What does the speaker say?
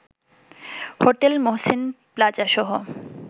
hotel Mohsin প্লাজাসহ